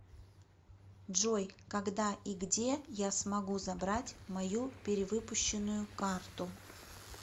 джой когда и где я смогу забрать мою перевыпущенную карту